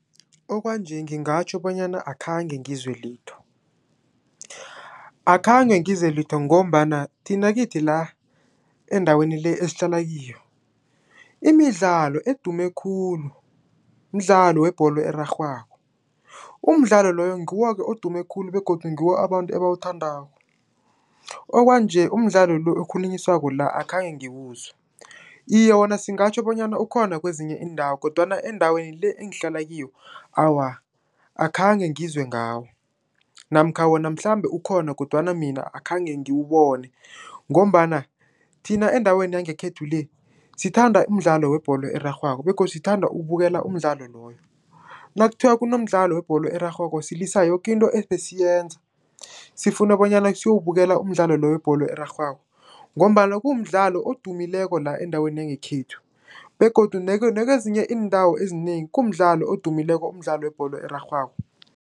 Okwanje ngingatjho bonyana akhange ngizwe litho, akhange ngizwe litho ngombana thina kithi la, endaweni le, esihlala kiyo, imidlalo edume khulu mdlalo webholo erarhwako. Umdlalo loyo, ngiwo-ke odume khulu, begodu ngiwo abantu abawuthandako, okwanje umdlalo lo, okhulunyiswako la, akhange ngiwuzwe. Iye, wona singatjho bonyana ukhona kwezinye iindawo, kodwana endaweni le, engihlala kiyo, awa, akhange ngizwe ngawo, namkha wona mhlambe ukhona, kodwana mina akhange ngiwubone, ngombana thina endaweni yangekhethu le, sithanda umdlalo webholo erarhwako, begodu sithanda ukubukela umdlalo loyo. Nakuthiwa kunomdlalo webholo erarhwako, silisa yoke into ebesiyenza, sifune bonyana siyowubukela umdlalo lo, webholo erarhwako, ngombana kumdlalo odumileko la, endaweni yangekhethu, begodu nakezinye iindawo ezinengi kumdlalo odumileko, umdlalo webholo erarhwako.